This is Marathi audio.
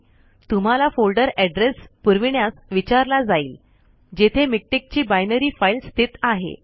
तुम्हाला फोल्डर एड्रेस पुरविण्यास विचारला जाईल जेथे मिक्टेक ची बायनरी फाईल स्थित आहे